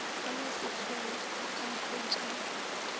bona sekgole a ka hwetšega